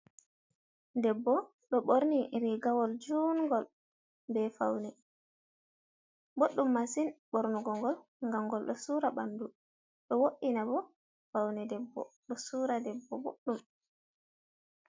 Debbo ɗo ɓorni rigawol jungol be faune, ɓoɗɗum massin ɓornugo gol gam gol ɗo sura ɓandu ɗo wo’ina bo faune debbo ɗo sura debbo ɓoɗɗum.